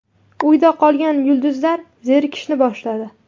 Uyda qolgan yulduzlar zerikishni boshladi.